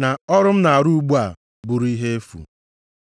na ọrụ m na-arụ ugbu a, bụrụ ihe efu.